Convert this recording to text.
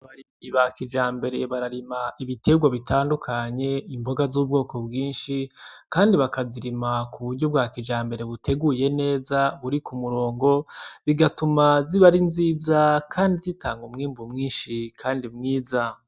Abarimyi ba kijambere bararima ibitegwa bitandukanye imboga zubwoko bwinshi kandi bakazirima ku buryo bwa kijambere buteguye neza buri kumurongo bigatuma ziba ari nziza kandi zitanga umwimbu mwinshi kandi mwiza.